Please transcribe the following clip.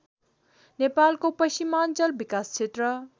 नेपालको पश्चिमाञ्चल विकासक्षेत्र